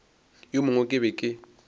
wo mongwe ke be ke